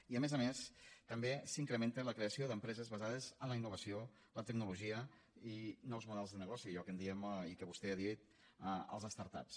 i a més a més també s’incrementa la creació d’empreses basades en la innovació la tecnologia i nous models de negoci allò que en diem i que vostè ha dit les start ups